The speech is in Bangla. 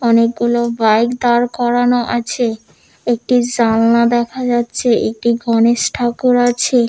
অনেকগুলো বাইক দাঁড় করানো আছে একটি জানলা দেখা যাচ্ছে একটি গণেশ ঠাকুর আছে।